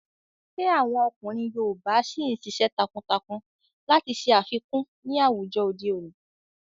Ṣé àwọn ọkùnrin yoòbá ṣìí n ṣiṣẹ́ takuntakun láti ṣe àfikún ní àwùjọ òde òní?